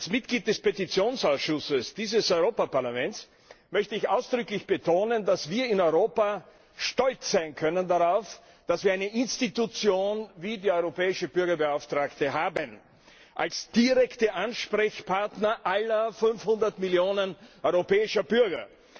Als Mitglied des Petitionsausschusses dieses Europäischen Parlaments möchte ich ausdrücklich betonen, dass wir in Europa darauf stolz sein können, dass wir eine Institution wie die Europäische Bürgerbeauftragte haben als direkten Ansprechpartner aller 500 Millionen europäischer Bürger.